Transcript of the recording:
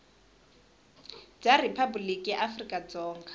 bya riphabuliki ra afrika dzonga